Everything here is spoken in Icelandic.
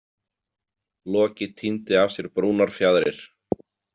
Loki tíndi af sér brúnar fjaðrir.